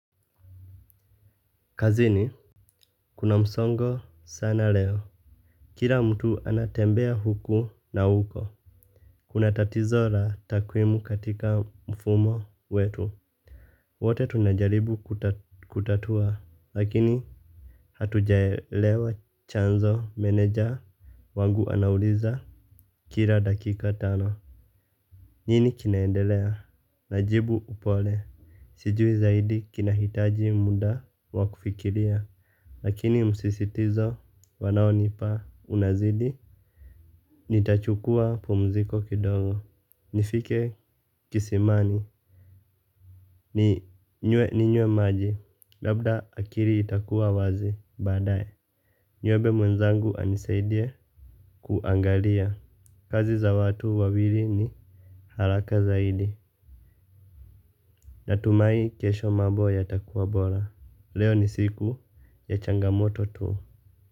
Kazini kuna msongo sana leo. Kila mtu anatembea huku na huko. Kuna tatizo la takwimu katika mfumo wetu. Wote tunajaribu kutatua lakini hatujaelewa chanzo meneja wangu anauliza kila dakika tano. Nini kinaendelea. Najibu upole. Sijui zaidi kinahitaji muda wakufikiria. Lakini msisitizo wanao nipa unazidi. Nitachukua pumziko kidogo. Nifike kisimani ninywe ninywe maji. Labda akili itakuwa wazi baadaye. Niombe mwenzangu anisaidie kuangalia kazi za watu wawili ni haraka zaidi. Natumai kesho mambo yatakuwa bora. Leo ni siku ya changamoto tu.